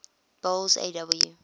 boles aw